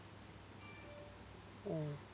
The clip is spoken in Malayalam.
ആഹ്